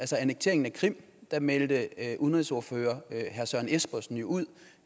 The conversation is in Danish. til annekteringen af krim meldte udenrigsordfører herre søren espersen jo ud